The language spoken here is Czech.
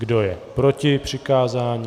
Kdo je proti přikázání?